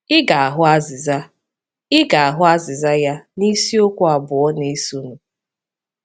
Ị ga-ahụ azịza Ị ga-ahụ azịza ya n’isiokwu abụọ na-esonụ.